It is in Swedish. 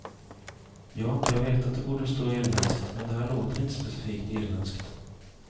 Ja, jag vet att det borde stå irländskt men det här låter inte specifikt irländskt.